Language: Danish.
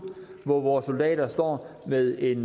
hvor vores soldater står med en